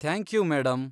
Thank you, madam.